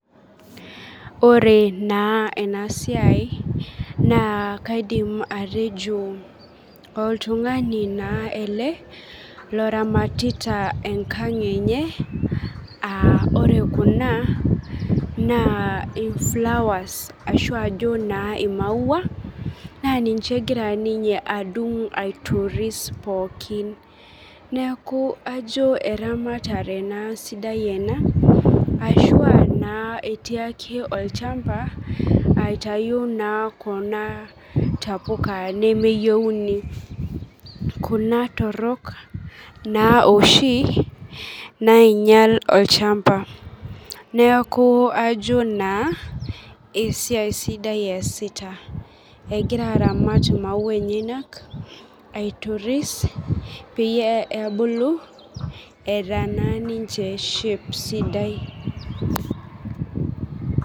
Oore naa eena siai naa kaidim atejo, oltung'ani naa eele loramatita enkang' eenye, aa oore kuna naa iflowers, arashu aajo naa imaua, naa ninye egira ninye adung aitoris pookin niaku aajo eramatare eena sidai eena, arashuu naa etii aake olchamba, aitau naa kuuna tapuka nemeyieuni. Kuuna torok naa ooshi nainyial olchamba. Aajo naa esiai sidai easita egira aramat imaua enyenak, aitoris, peyie ebulu eeta naaa ninche shape sidai.